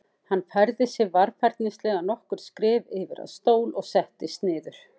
Hann færði sig varfærnislega nokkur skref yfir að stól og settist niður.